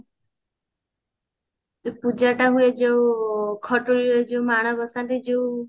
ଏ ପୂଜା ଟା ହୁଏ ଯୋଉ ଖଟୁଲି ରେ ଯୋଉ ମାଣ ବସାନ୍ତି ଯୋଉ